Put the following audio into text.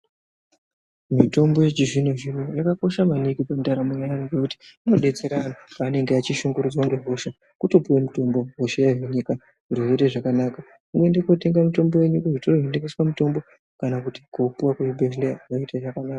Mitombo yechizvino zvino yakakosha maningi mundaramo yevantu ngekuti inodetsera antu pavanenge vachishungurudzwa nehosha kutopuwa mutombo hosha yohinika zviro zvoita zvakanaka wotoenda kotenga mitombo yenyu kuzvitoro zvinotengeswa mitombo kana kupuwa kuzvibhedhlera zvoita zvakanaka.